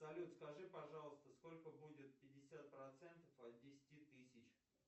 салют скажи пожалуйста сколько будет пятьдесят процентов от десяти тысяч